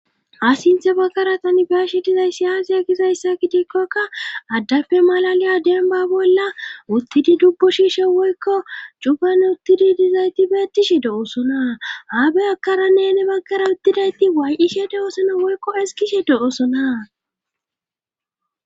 a sinthe baggara tanbaashi dizay siyaasi e kizayssa kidikkokka addappe malaliya denba bolla uttidi dubbu shiishe woykko cugan uttidi dizayti beettishe de7osona haabe akara nene baggara uttidayti waay7ishe de7osona woykko eskishe de7osona